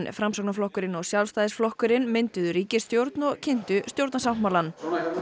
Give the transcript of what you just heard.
Framsóknarflokkurinn og Sjálfstæðisflokkurinn mynduðu ríkisstjórn og kynntu stjórnarsáttmálann